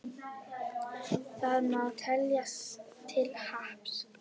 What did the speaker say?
Það má teljast til happs.